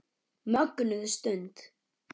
Mögnuð stund.